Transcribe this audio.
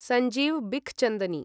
Sanjeev Bikhchandani